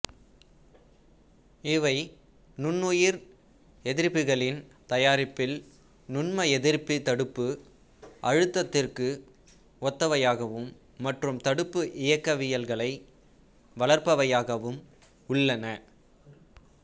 இவை நுண்ணுயிர் எதிர்ப்பிகளின் தயாரிப்பில் நுண்ம எதிர்ப்பி தடுப்பு அழுத்தத்திற்கு ஒத்வையாகவும் மற்றும் தடுப்பு இயக்கவியல்களை வளர்ப்பவையாகவும் உள்ளன